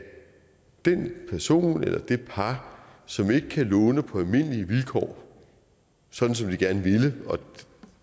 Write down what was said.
den person eller det par som ikke kan låne på almindelige vilkår som de gerne ville